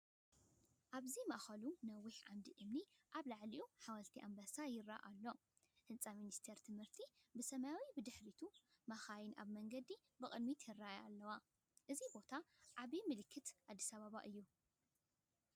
ኣብዚ ኣብ ማእከሉ ነዊሕ ዓንዲ እምኒ ኣብ ልዕሊኡ ሓወልቲ ኣንበሳ ይረአ ኣሎ፡ ህንጻ ሚኒስትሪ ትምህርቲ ብሰማያዊ ብድሕሪት፡ መካይን ኣብ መንገዲ ብቕድሚት ይረአ ኣለዋ። እዚ ቦታ ዓቢ ምልክት ኣዲስ ኣበባ እዩ።